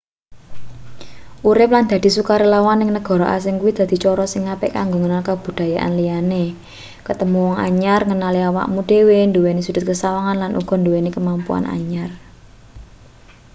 urip lan dadi sukarelawan ning negara asing kuwi dadi cara sing apik kanggo ngenal kabudayan liyane ketemu wong anyar ngenali awakmu dhewe nduweni sudhut sesawangan lan uga nduweni kemampuan anyar